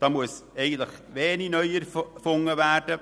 Da muss wenig neu erfunden werden.